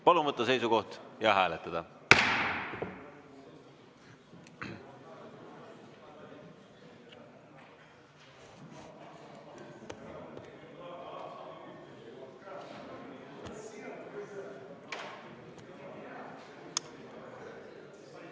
Palun võtta seisukoht ja hääletada!